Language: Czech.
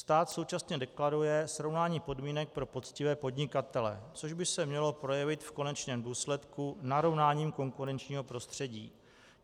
Stát současně deklaruje srovnání podmínek pro poctivé podnikatele, což by se mělo projevit v konečném důsledku narovnáním konkurenčního prostředí.